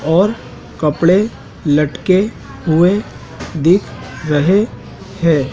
और कपड़े लटके हुए दिख रहे हैं।